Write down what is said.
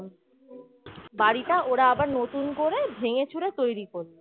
বাড়িটা ওরা আবার নতুন করে ভেঙে চুরে তৈরী করল